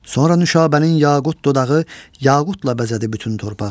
Sonra Nüşabənin yaqut dodağı yaqutla bəzədi bütün torpağı.